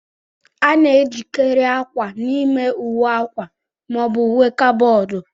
A na-ejikarị akwa n'ime ụwe akwa ma ọ bụ uwe kaboodu.